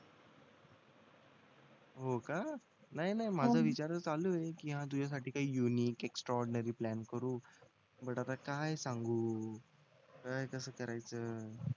होका नाय नाय माझा विचार चालू आहे कि तुझ्यासाठी काही युनिक एक्सट्रा ऑर्डीनरी प्लॅन करू बट आता काय सांगू काय कस करायचं